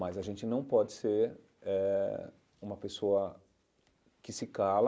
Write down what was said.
Mas a gente não pode ser eh uma pessoa que se cala